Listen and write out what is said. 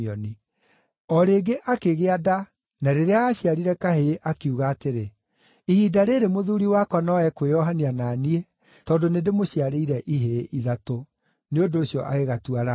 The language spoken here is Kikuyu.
O rĩngĩ akĩgĩa nda na rĩrĩa aaciarire kahĩĩ, akiuga atĩrĩ, “Ihinda rĩĩrĩ mũthuuri wakwa no ekwĩohania na niĩ tondũ nĩndĩmũciarĩire ihĩĩ ithatũ.” Nĩ ũndũ ũcio agĩgatua Lawi.